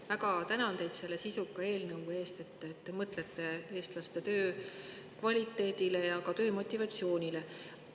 Ma väga tänan teid selle sisuka eelnõu eest, te mõtlete eestlaste töökvaliteedile ja -motivatsioonile.